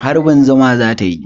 Harbi zuma za ta yi.